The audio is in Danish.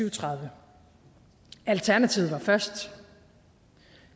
og tredive alternativet var først